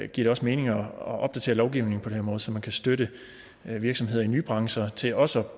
det også mening at opdatere lovgivningen på den her måde så man kan støtte virksomheder i nye brancher til også at